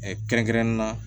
kɛrɛnkɛrɛnnen na